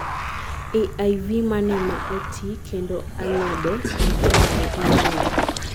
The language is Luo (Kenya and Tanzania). AIV mane maa oti kendo alode machon ma ing'eyo